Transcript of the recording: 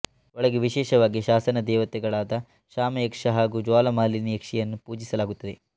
ಒಳಗೆ ವಿಶೇಷವಾಗಿ ಶಾಸನ ದೇವತೆಗಳಾದ ಶಾಮಯಕ್ಷ ಹಾಗೂ ಜ್ವಾಲಾ ಮಾಲಿನಿ ಯಕ್ಷಿಯನ್ನು ಪೂಜಿಸಲಾಗುತ್ತದೆ